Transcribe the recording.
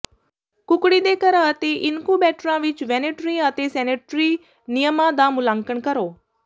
ਕੁਕੜੀ ਦੇ ਘਰ ਅਤੇ ਇਨਕੂਬੇਟਰਾਂ ਵਿੱਚ ਵੈਟਰਨਰੀ ਅਤੇ ਸੈਨੇਟਰੀ ਨਿਯਮਾਂ ਦਾ ਮੁਲਾਂਕਣ ਕਰੋ